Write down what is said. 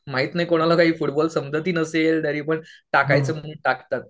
माहित नाही कुणाला फुटबॉल समजतही नसेल तरीपण टाकायचं म्हणून टाकतात.